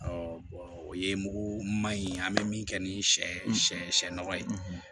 o ye mugu ma ɲi an bɛ min kɛ ni sɛ sɛ sɛgɛn nɔgɔ ye